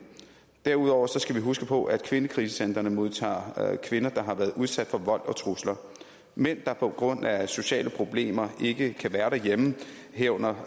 derudover skal vi huske på at kvindekrisecentrene modtager kvinder der har været udsat for vold og trusler mænd der på grund af sociale problemer ikke kan være derhjemme herunder